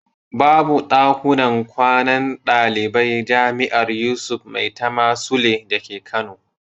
Babu ɗakunan kwanan ɗaliban jami'ar Yusuf Maitama Sule dake Kano.